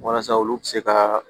Walasa olu bɛ se ka